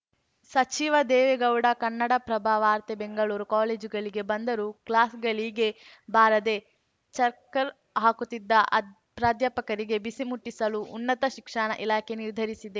ಸಚಿವ ದೇವೇಗೌಡ ಕನ್ನಡಪ್ರಭ ವಾರ್ತೆ ಬೆಂಗಳೂರು ಕಾಲೇಜುಗಳಿಗೆ ಬಂದರೂ ಕ್ಲಾಸ್‌ಗಳಿಗೆ ಬಾರದೆ ಚಕ್ಕರ್‌ ಹಾಕುತ್ತಿದ್ದ ಅದ್ ಪ್ರಾಧ್ಯಾಪಕರಿಗೆ ಬಿಸಿ ಮುಟ್ಟಿಸಲು ಉನ್ನತ ಶಿಕ್ಷಣ ಇಲಾಖೆ ನಿರ್ಧರಿಸಿದೆ